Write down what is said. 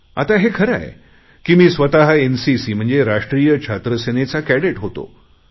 आता हे खरे आहे की मी स्वत एनसीसी म्हणजे राष्ट्रीय छात्र सेनेचा कॅडेट होतो